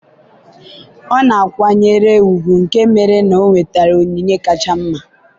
ọ na-akwanyere ùgwù nke mere na o nwetara onyinye kacha mma.